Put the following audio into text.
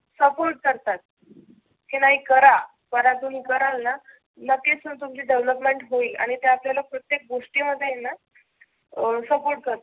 Support करतात. की नाही तुम्ही करा, कराल ना नक्कीच मग तुमची development होईल. आणि ते आपल्याला प्रत्येक गोष्टी मध्ये आहेना अं सपोर्ट करतात.